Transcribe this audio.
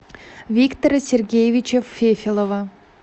виктора сергеевича фефелова